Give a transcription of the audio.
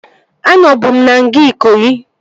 Anọbu m na nga Ikoyi